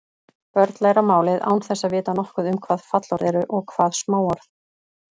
Börn læra málið án þess að vita nokkuð um hvað fallorð eru og hvað smáorð.